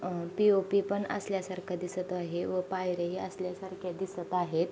अ POP पण असल्या सारखं दिसत आहे. व पायर्‍या ही असल्यासारखे दिसत आहेत.